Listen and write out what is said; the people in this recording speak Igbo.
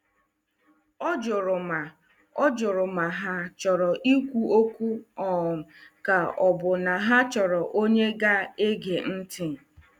Ọ jụrụ ma Ọ jụrụ ma ha chọrọ ikwu okwu um ka ọ bụ na ha chọrọ onye ga-ege ntị.